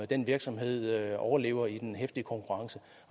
den virksomhed overlever i den heftige konkurrence